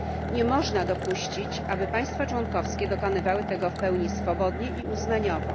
Nie można dopuścić, aby państwa członkowskie dokonywały tego w pełni swobodnie i uznaniowo.